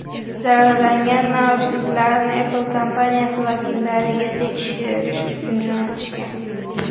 Zararlangan naushniklarni Apple kompaniyasi vakillariga tekshirish uchun jo‘natishgan.